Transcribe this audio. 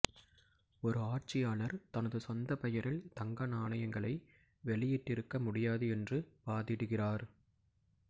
ஒரு ஆட்சியாளர் தனது சொந்த பெயரில் தங்க நாணயங்களை வெளியிட்டிருக்க முடியாது என்று வாதிடுகிறார்